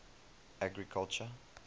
agriculture